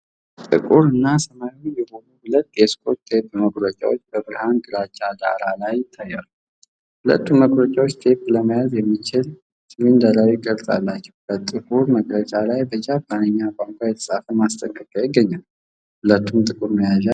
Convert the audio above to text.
ጥቁር እና ሰማያዊ የሆኑ ሁለት የስኮች ቴፕ መቁረጫዎች በብርሃን ግራጫ ዳራ ላይ ይታያሉ። ሁለቱም መቁረጫዎች ቴፕ ለመያዝ የሚችል ሲሊንደራዊ ቅርጽ አላቸው። በጥቁሩ መቁረጫ ላይ በጃፓንኛ ቋንቋ የተፃፈ ማስጠንቀቂያ ይገኛል፤ ሁለቱም ጥቁር መያዣ አላቸው።